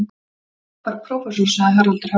Frábær prófessor, sagði Haraldur Hálfdán.